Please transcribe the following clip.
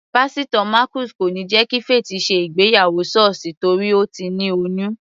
Pásítò Marcus kò níí jẹ́ kí Faith ṣe ìgbéyàwó sọ́ọ̀sì torí Ó ti ní oyún.